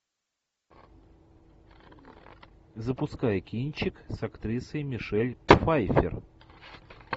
запускай кинчик с актрисой мишель пфайффер